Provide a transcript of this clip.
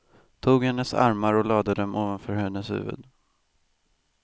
Tog hennes armar och lade dem ovanför hennes huvud.